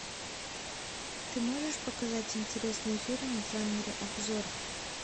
ты можешь показать интересные фильмы в жанре обзор